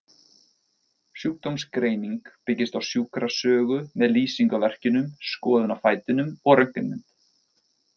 Sjúkdómsgreining byggist á sjúkrasögu með lýsingu á verkjunum, skoðun á fætinum og röntgenmynd.